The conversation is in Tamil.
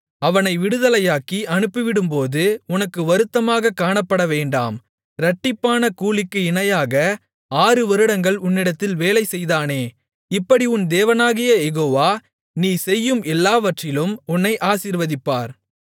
அவனை விடுதலையாக்கி அனுப்பிவிடுவது உனக்கு வருத்தமாகக் காணப்படவேண்டாம் இரட்டிப்பான கூலிக்கு இணையாக ஆறு வருடங்கள் உன்னிடத்தில் வேலைசெய்தானே இப்படி உன் தேவனாகிய யெகோவா நீ செய்யும் எல்லாவற்றிலும் உன்னை ஆசீர்வதிப்பார்